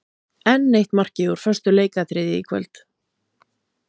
Enn eitt markið úr föstu leikatriði í kvöld.